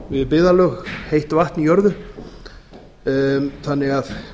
við byggðarlög heitt vatn í jörðu þannig að